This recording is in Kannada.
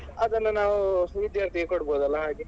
ಅದನ್ನು ನಾವು ವಿದ್ಯಾರ್ಥಿಗಳಿಗೆ ಕೊಡಬೋದಲ್ಲಾ ಹಾಗೆ.